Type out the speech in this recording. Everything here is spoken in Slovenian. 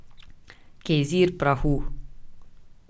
Gejzir prahu.